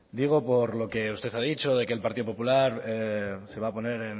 digo por lo que usted ha dicho de que el partido popular se va a poner